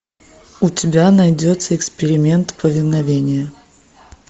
у тебя найдется эксперимент повиновение